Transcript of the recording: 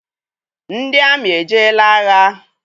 Ndị amị ejeela agha?